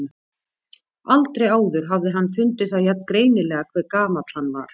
Aldrei áður hafði hann fundið það jafn greinilega hve gamall hann var.